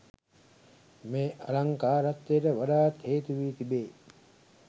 මේ අලංකාරත්වයට වඩාත් හේතු වී තිබේ.